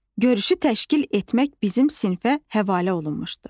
Görüşü təşkil etmək bizim sinfə həvalə olunmuşdu.